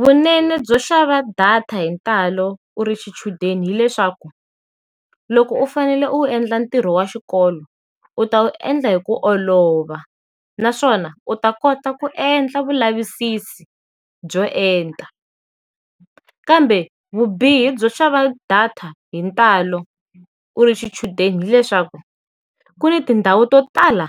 Vunene byo xava data hi ntalo u ri xichudeni hileswaku, loko u fanele u endla ntirho wa xikolo, u ta wu endla hi ku olova naswona u ta kota ku endla vulavisisi byo enta. Kambe vubihi byo xava data hi ntalo u ri xichudeni hileswaku, ku ni tindhawu to tala